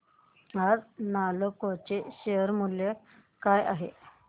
आज नालको चे शेअर मूल्य काय आहे